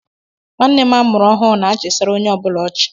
Nwanne m amụrụ ọhụụ na-achisara onye ọ bụla ọchị.